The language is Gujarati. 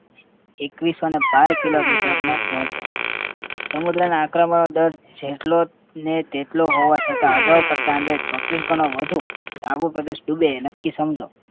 એકવીસોને બાર kilometer નો પહોંચે સમુદ્રના આક્રમણનો દર જેટલો ને તેટલો હોવા છતાં અગાઉ કરતાં અંદર ચોત્રીસ ગણો વધુ તો આવો પ્રદેશ ડૂબે એ નક્કી સમજો